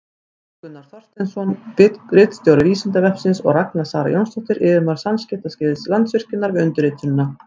Jón Gunnar Þorsteinsson, ritstjóri Vísindavefsins, og Ragna Sara Jónsdóttir, yfirmaður samskiptasviðs Landsvirkjunar, við undirritunina.